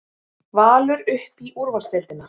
Valur upp í úrvalsdeildina